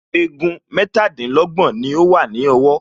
Egun mẹ́tàdínlọ́gbọ̀n ni ó wà ní ọwọ́